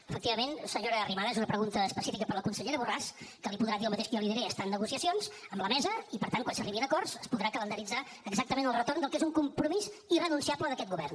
efectivament senyora arrimadas una pregunta específica per a la consellera borràs que li podrà dir el mateix que jo li diré està en negociacions amb la mesa i per tant quan s’arribi a acords es podrà calendaritzar exactament el retorn del que és un compromís irrenunciable d’aquest govern